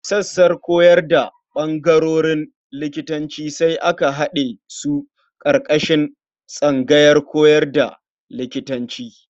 Sassan koyar da ɓangarorin likitanci sai aka haɗe su ƙarƙashin tsangayar koyar da likitanci.